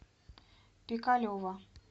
пикалево